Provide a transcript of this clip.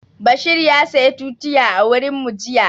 Bashir ya saya tutiya a wurin mu jiya